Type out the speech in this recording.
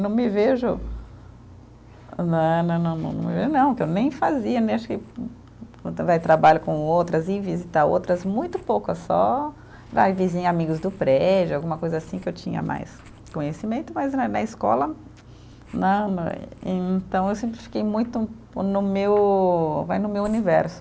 Não me vejo, né né né, não, eu não, que eu nem fazia, nem acho que Vai, trabalho com outras, ir visitar outras, muito poucas, só, vai, vizinha amigos do prédio, alguma coisa assim que eu tinha mais conhecimento, mas eh na escola, né, não é. Então, eu sempre fiquei muito no meu, vai no meu universo.